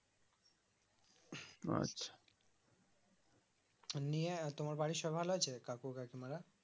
নিয়ে তোমার বাড়ির সব ভালো আছে কাকু কাকিমা রা